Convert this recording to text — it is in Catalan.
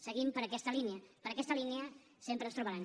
seguim per aquesta línia per aquesta línia sempre ens trobaran